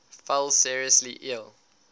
fell seriously ill